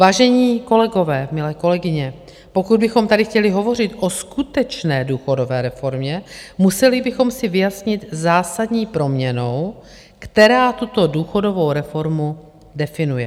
Vážení kolegové, milé kolegyně, pokud bychom tady chtěli hovořit o skutečné důchodové reformě, museli bychom si vyjasnit zásadní proměnnou, která tuto důchodovou reformu definuje.